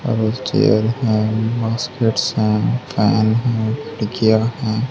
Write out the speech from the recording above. और एक चेयर हैं हैं फैन हैं तकिया है।